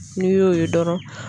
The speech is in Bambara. N'i y'o ye dɔrɔn